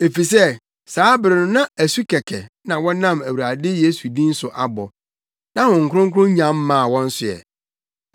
efisɛ saa bere no na asu kɛkɛ na wɔnam Awurade Yesu din so abɔ. Na Honhom Kronkron nnya mmaa wɔn so ɛ.